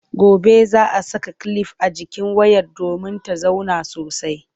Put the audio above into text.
Gobe za a saka kilif a jikin wayar domin ta zauna sosai.